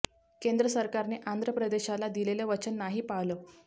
केंद्र सरकारने आंध्र प्रदेशला दिलेलं वचन नाही पाळलं